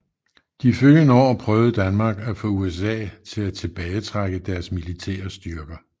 De følgende år prøvede Danmark at få USA til at tilbagetrække deres militære styrker